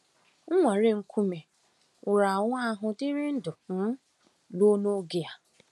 Nnwale nkume nwụrụ anwụ ahụ dịrị ndụ um ruo n’oge a.